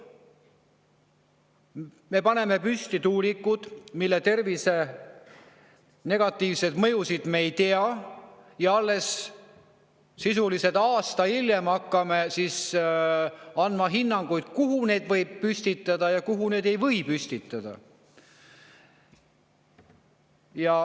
Me paneme püsti tuulikuid, mille puhul me nende negatiivseid mõjusid tervisele ei tea, ja sisuliselt alles aasta hiljem hakkame andma hinnanguid, kuhu neid võib püstitada ja kuhu neid ei või püstitada.